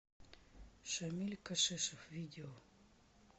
шамиль кашешов видео